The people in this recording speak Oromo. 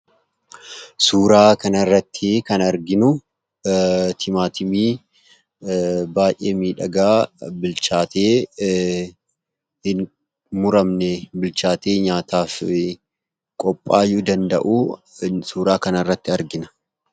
Suuraa kanarrattii kan arginu timaatimii baay'ee miidhagaa bilchaatee hin muramne, bilchaatee nyaataaf qophaa'uu danda'uu suuraa kanarratti argina.